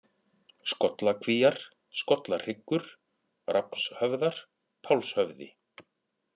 Skollakvíar, Skollahryggur, Rafnshöfðar, Pálshöfði